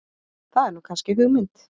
Það er nú kannski hugmynd.